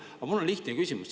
Aga mul on lihtne küsimus.